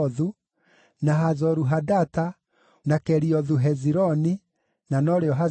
na Hazoru-Hadata, na Keriothu-Hezironi (na norĩo Hazoru),